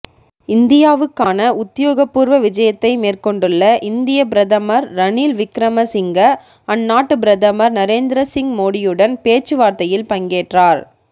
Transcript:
இந்தியாவுக்கான உத்தியோகபூர்வ விஜயத்தை மேற்கொண்டுள்ள இந்திய பிரதமர் ரணில் விக்ரமசிங்க அந்நாட்டு பிரதமர் நரேந்திரசிங் மோடியுடன் பேச்சுவார்த்தையில் பங்கேற்றார்